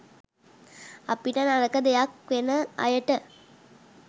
අපිට නරක දෙයක් වෙන අයට